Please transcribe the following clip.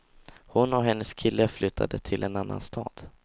Hon och hennes kille flyttade till en annan stad.